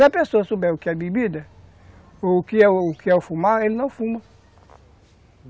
Se a pessoa souber o que é bebida, ou o que é o que é o fumar, ele não fuma.